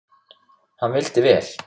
Hann vildi vel.